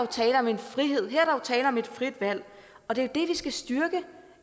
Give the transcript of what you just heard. tale om en frihed her er tale om et frit valg og det er det vi skal styrke